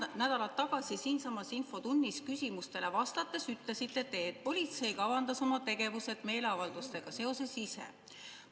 Paar nädalat tagasi siinsamas infotunnis küsimustele vastates te ütlesite, et politsei kavandas oma meeleavaldustega seotud tegevused ise.